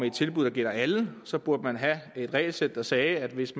et tilbud der gælder alle så burde have et regelsæt der sagde at hvis